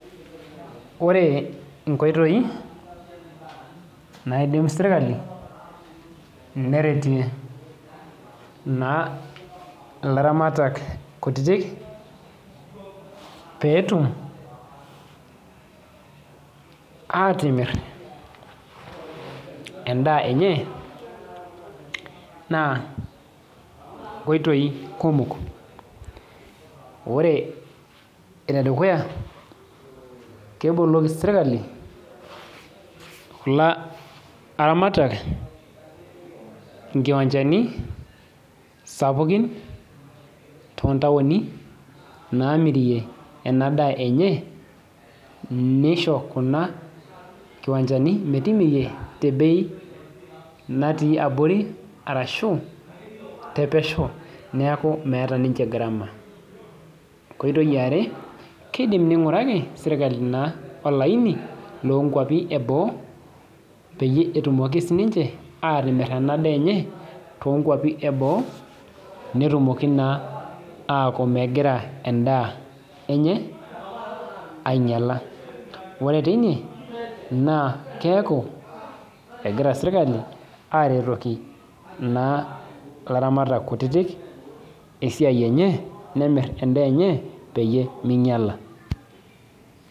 Kore nkoitei naidim serikali neretie naa laramatak kutiti petum atimir ndaa enye naa nkoitoi kumok kore nedukuya, keboloki serikali laramatak nkiwanjani sapukin tontaoni namirie ndaa enye neisho Kuna kiwanjani metimirie tebei natii abori arashu tepesheu naaku meata niche ngarama, koitoi aare keidim neinguraki serikali naa olaini nkopi eboo peyie etumoki sii ninche atimir ndaa enye tenkopi eboo netumoki naa aaku megira ndaa enye ainyala kore teine naa keaku egira serikali aretoki naa laramatak kutiti esiai enye nemir ndaa enye peyie menyala.